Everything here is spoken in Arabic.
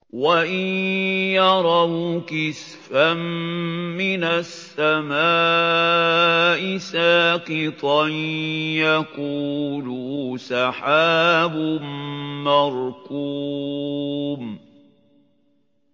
وَإِن يَرَوْا كِسْفًا مِّنَ السَّمَاءِ سَاقِطًا يَقُولُوا سَحَابٌ مَّرْكُومٌ